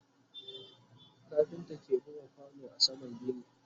kafinta ke buga kwano a saman gini